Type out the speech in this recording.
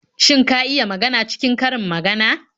Shin ka iya magana cikin karin magana?